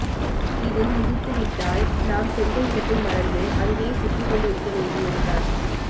இதில் மிதித்து விட்டால் நாம் சென்ற இடத்தை மறந்து அங்கேயே சுற்றிக்கொண்டு இருக்க வேண்டியதுதான்